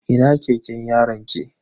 Ina keken yaronki?